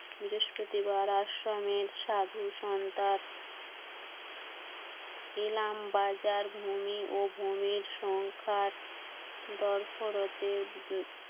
আশ্রমের সাধু বাজার ভূমি ও ভূমির সংখ্যার দরপরতের